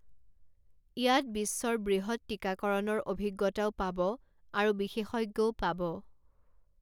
ইয়াত বিশ্বৰ বৃহৎ টিকাকৰণৰ অভিজ্ঞতাও পাব আৰু বিশেষজ্ঞও পাব।